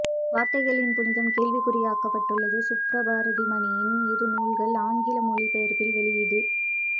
வார்த்தைகளின் புனிதம் கேள்விக்குரியாக்கப்பட்டுள்ளது சுப்ரபாரதிமணியனின் இரு நூல்கள் ஆங்கில் மொழிபெயர்ப்பில் வெளியீடு